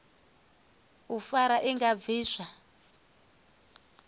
u fara i nga bviswa